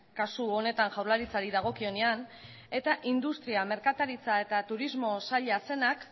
kasu honetan jaurlaritzari dagokionean eta industria merkataritza eta turismo saila zenak